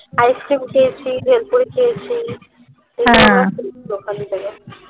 ice cream খেয়েছি ভেলপুরি খেয়েছি